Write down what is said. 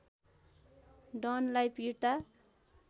डनलाई पिट्दा